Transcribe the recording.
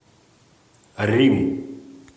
рим